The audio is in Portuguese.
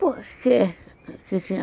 Por que?